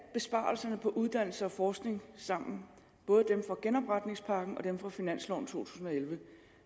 besparelserne på uddannelse og forskning sammen både dem fra genopretningspakken og dem fra finansloven to tusind og elleve